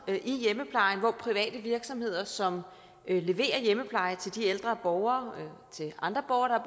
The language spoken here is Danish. i hjemmeplejen hvor private virksomheder som leverer hjemmepleje til de ældre borgere og andre borgere der